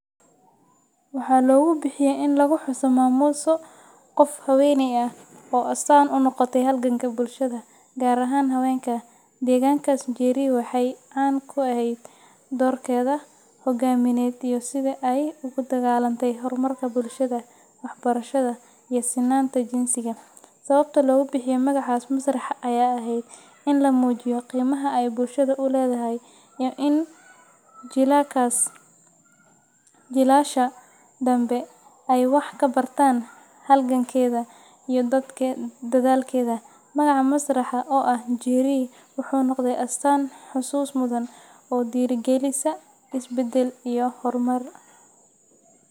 Waxaa logu bixiyay in laguxuso maamuuso qof haween ah oo astaan u noqotay halganka bulshada, gaar ahaan haweenka, deegaankaas. Njeri waxay caan ku ahayd doorkeeda hoggaamineed iyo sida ay ugu dagaallantay horumarka bulshada, waxbarashada, iyo sinnaanta jinsiga. Sababta loogu bixiyay magacaas masraxa ayaa ahayd in la muujiyo qiimaha ay bulshada u lahayd iyo in jiilasha dambe ay wax ka bartaan halgankeeda iyo dadaalkeeda. Magaca masraxa oo ah “Njeri” wuxuu noqday astaan xusuus mudan oo dhiirrigelisa isbeddel iyo horumar.